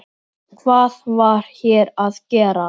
Hvað var hér að gerast?